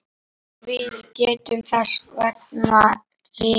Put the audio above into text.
Við getum þess vegna ritað